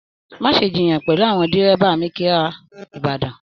Má ṣe jiyàn pẹlú àwọn dírẹ́bà mikira ìbàdàn.